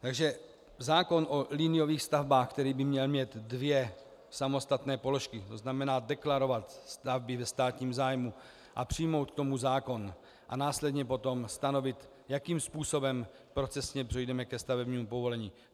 Takže zákon o liniových stavbách, který by měl mít dvě samostatné položky, to znamená deklarovat stavby ve státním zájmu a přijmout k tomu zákon a následně potom stanovit, jakým způsobem procesně přejdeme ke stavebnímu povolení.